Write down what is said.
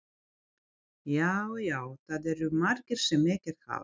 Já, já, það eru margir sem ekkert hafa.